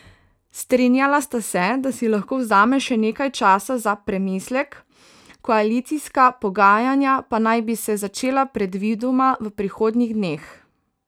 Strinjala sta se, da si lahko vzame še nekaj časa za premislek, koalicijska pogajanja pa naj bi se začela predvidoma v prihodnjih dneh.